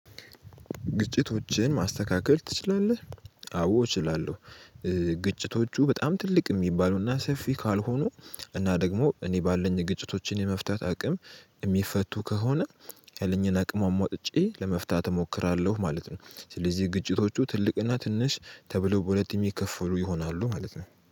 ግጭቶችን ማስተካከል ትችላለህ? አዎ እችላለሁ ግጭቶቹ በጣም ትልቅ የሚባሉና ሰፊ ካልሆኑ እና ደግሞ እኔ ባለኝ ግጭቶችን የመፍታት አቅም የሚፈቱ ከሆነ ያለኝን አቅም አሟጥቼ ለመፍታት እሞክራለሁ ማለት ነው ስለዚህ ግጭቶቹ ትልቅና ትንሽ ተብሎ በሁለት የሚከፍሉ ይሆናሉ ማለት ነው